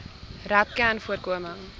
rapcanvoorkoming